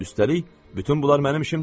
Üstəlik, bütün bunlar mənim işim deyil.